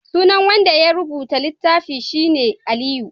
sunan wanda ya rubuta littafin shi ne Aliyu